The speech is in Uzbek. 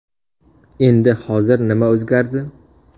Endi hozir nima o‘zgardi?